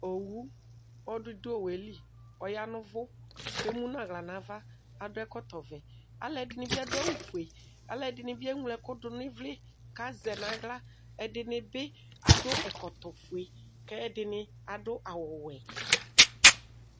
Owʋ ɔlɔdɩ dʋ owʋeli kʋ ɔyaɣa nʋ ʋvʋ kʋ emunu aɣla nʋ ava kʋ adʋ ɛkɔtɔvɛ alʋ ɛdini bi adʋ awʋfue alʋɛdini bi eŋlo ɛkʋ dʋnʋ ivli kʋ azɛ nʋ aɣla ɛdini bi adʋ ɛkɔtɔfue kʋ ɛdini adʋ awʋwɛ